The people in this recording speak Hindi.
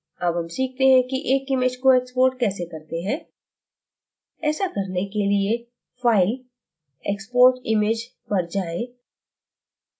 अब हम सीखते कि एक image को export कैसे करते हैं ऐसा करने के लिए file> export image पर जाएँ